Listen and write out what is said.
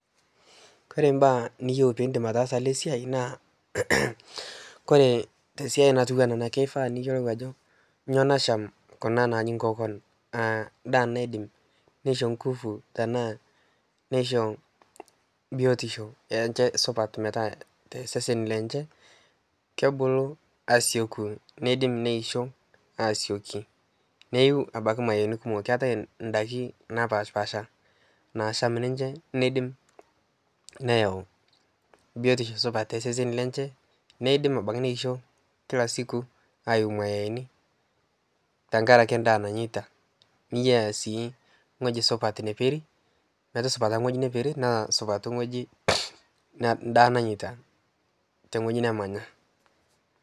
Kore imbaa niyeu piindim ataasa ana siai naa kore te siai natiu ana keifaa niyolou ajo nyoo nacham kuna naaji nkokon, naa indaa naidim neisho nkufu tanaa neisho biotisho enche supat meta sesen lenche kebulu asioku, neidim neisho asioki neyiu abaki imaeni kumoka. Keatae indaki napaashpasha naasham ninche neidim neyau biotisho supata toseseni lenche, neidim abaki neisho kila siku ayiu maeni tengaraki endaa nanyeita ,niyaa sii ng'oji supat neperi metusupata ing'oji neperi naa supat ing'oji indaa nanyeita te ng'oji nemanya.